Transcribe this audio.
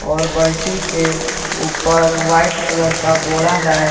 और बाल्टी के ऊपर व्हाइट कलर का बोड़ा है।